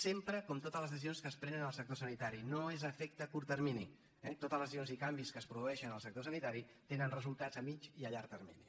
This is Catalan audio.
sempre com totes les decisions que es prenen en el sector sanitari no és efecte a curt termini eh totes les decisions i canvis que es produeixen en el sector sanitari tenen resultats a mitjà i a llarg termini